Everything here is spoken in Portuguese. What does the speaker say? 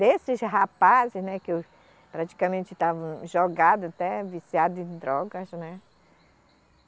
Desses rapazes, né que praticamente estavam jogados, até viciados em drogas, né.